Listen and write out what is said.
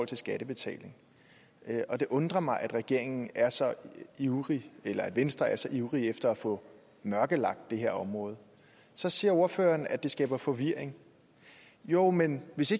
til skattebetaling det undrer mig at regeringen er så ivrig eller at venstre er så ivrig efter at få mørkelagt det her område så siger ordføreren at det skaber forvirring jo men hvis